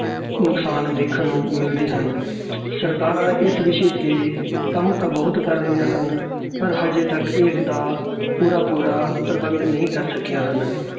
ਨੁਕਸਾਨ ਦੇਖਣ ਨੂੰ ਮਿਲਦੇ ਹਨ ਸਰਕਾਰਾਂ ਇਸ ਵਿਸ਼ੇ ਤੇ ਕੰਮ ਤਾਂ ਬਹੁਤ ਕਰ ਰਹੀਆਂ ਹਨ ਪਰ ਹਜੇ ਤੱਕ ਇਸਦਾ ਪੂਰਾ ਪੂਰਾ ਪ੍ਰਬੰਧ ਨਹੀਂ ਕਰ ਸਕੀਆਂ ਹਨ